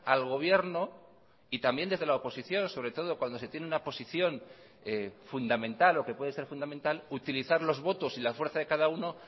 al gobierno y también desde la oposición sobre todo cuando se tiene una posición fundamental o que puede ser fundamental utilizar los votos y la fuerza de cada uno